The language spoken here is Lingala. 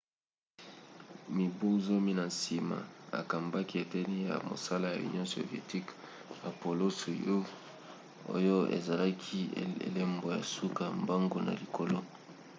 mibu zomi na nsima akambaki eteni ya mosala ya union soviétique apollo-soyouz oyo ezalaki elembo ya suka mbangu na likolo